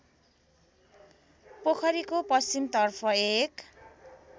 पोखरीको पश्चिमतर्फ एक